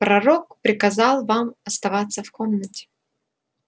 пророк приказал вам оставаться в комнате